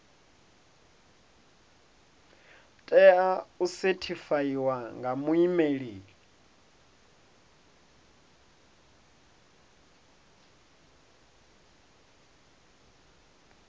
tea u sethifaiwa nga muimeli